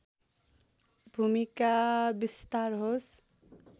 भूमिका विस्तार होस्